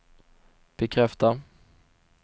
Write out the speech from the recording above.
bekräfta